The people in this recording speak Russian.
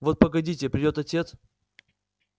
вот погодите придёт отец